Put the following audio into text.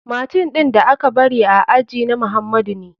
Machine ɗin da aka bari a aji na muhamadu ne.